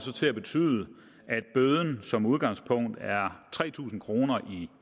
til at betyde at bøden ved som udgangspunkt er tre tusind kroner i